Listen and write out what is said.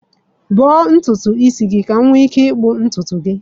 Gbaa ntutu isi gị, ka m nwee ike ịkpụ ntutu gị.